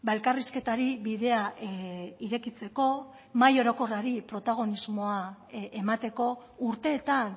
elkarrizketari bidea irekitzeko mahai orokorrari protagonismoa emateko urteetan